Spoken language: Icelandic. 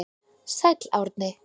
Sæll Árni.